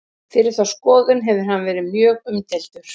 fyrir þá skoðun hefur hann verið mjög umdeildur